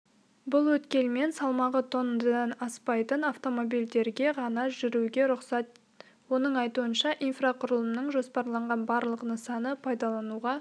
бұл өткелмен салмағы тоннадан аспайтын автомобильдерге ғана жүруге рұқсат оның айтуынша инфрақұрылымының жоспарланған барлық нысаны пайдалануға